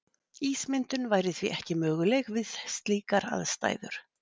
Ísmyndun væri því ekki möguleg við slíkar aðstæður.